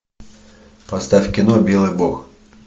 поставь кино белый бог